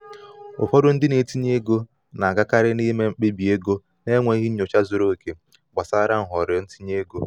ụfọdụ ndị na-etinye ego na-agakarị n'ịme mkpebi ego n’enweghị nnyocha zuru oke gbasara nhọrọ itinye ego.